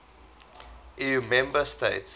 eu member states